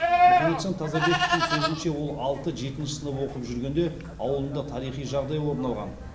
мұхамеджан тазабековтың сөзінше ол алты жетінші сынып оқып жүргенде ауылында тарихи жағдай орын алған